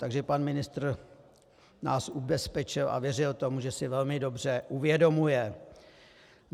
Takže pan ministr nás ubezpečil a věřil tomu, že si velmi dobře uvědomuje.